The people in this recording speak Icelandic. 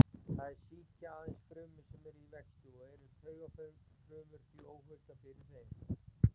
Þær sýkja aðeins frumur sem eru í vexti og eru taugafrumur því óhultar fyrir þeim.